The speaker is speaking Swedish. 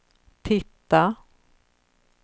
titta